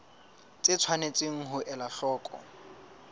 tse tshwanetseng ho elwa hloko